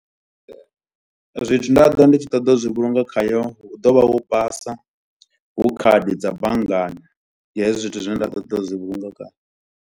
Zwithu ndi tshi ṱoḓa u zwi vhulunga khayo hu ḓo vha hu basa, hu khadi dza banngani. Ndi hezwi zwithu zwine nda ḓo ṱoḓa u zwi vhulunga khayo.